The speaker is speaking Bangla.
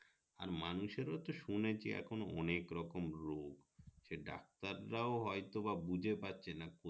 আর মানুষের এ তো শুনেছি এখন অনেক রকম রোগ সে ডাক্তার ও হয় তো বা বুঝে পারছে না কো